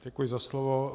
Děkuji za slovo.